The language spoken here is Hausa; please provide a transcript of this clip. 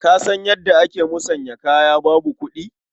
Ka san yadda ake musanyar kaya babu kuɗi?